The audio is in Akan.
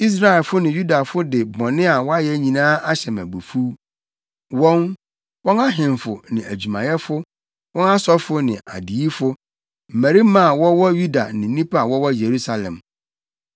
Israelfo ne Yudafo de bɔne a wɔayɛ nyinaa ahyɛ me abufuw, wɔn, wɔn ahemfo ne adwumayɛfo, wɔn asɔfo ne adiyifo, mmarima a wɔwɔ Yuda ne nnipa a wɔwɔ Yerusalem.